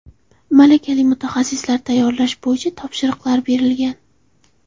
Malakali mutaxassislar tayyorlash bo‘yicha topshiriqlar berilgan.